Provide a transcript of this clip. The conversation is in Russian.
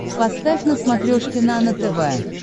поставь на смотрешке нано тв